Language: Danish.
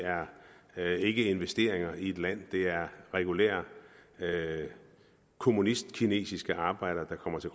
er ikke investeringer i et land det er regulære kommunistkinesiske arbejdere der kommer til